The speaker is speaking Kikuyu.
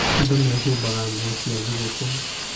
Andũ mehumbaga nguo cia thigũkũ.